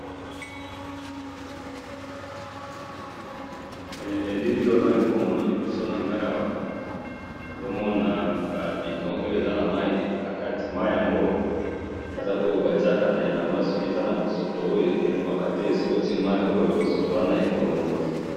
he elili oyo nazali komona liboso na ngayi awa nazo mona ba bidon oyo eza na mayi nakati mayi yango eza oyo batiyaka na elamba soki eza na bosoto oyo elongwaka te soki otiye mayi oyo bosoto wana ekolongwa.